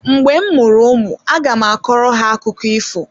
Mgbe m mụrụ ụmụ aga m akọrọ ha akụkụ ifo.